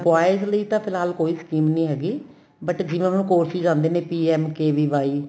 boys ਲਈ ਤਾ ਫਿਲਹਾਲ ਕੋਈ scheme ਨੀਂ ਹੈਗੀ but ਜਿਵੇਂ ਹੁਣ courses ਆਂਦੇ ਨੇ PMKVY